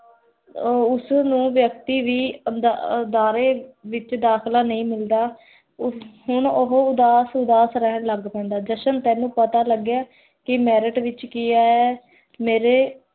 ਉਸਨੁ ਵਿਅਕਤੀ ਵੀ ਦਵਾਰੇ ਦਾਖਲਾ ਨਈ ਮਿਲਦਾ ਹੁਣ, ਓਹ ਉਦਾਸ ਉਦਾਸ ਰਹਿਨ ਲੱਗਾ ਪੈਂਦਾ ਜਸ਼ਨ ਤੇਨੁ ਪਤਾ ਲੱਗ ਗਿਆ, ਕੀ merit ਵਿਚ ਕੀ ਆਇਆ ਹੈ ਮੇਰੇ